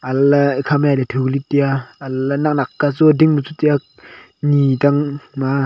aley ekhama jali thu lik taiya haley naknak ka chu ding ma chu taiya ni tang ma a.